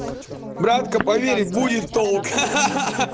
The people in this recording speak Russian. братка поверь будет толк ха-ха